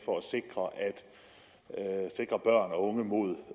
for at sikre børn og unge mod